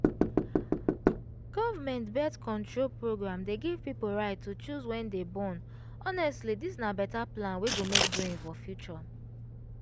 government birth-control program dey give people right to choose wen to born honestly this na better plan wey go make brain for future